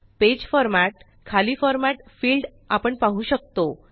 page format खाली formatफिल्ड आपण पाहू शकतो